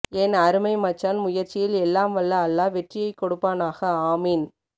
ஏன் அருமை மச்சான் முயற்சியில் எல்லாம் வல்ல அல்லா வெற்றியை கொடுப்பானாக ஆமீன்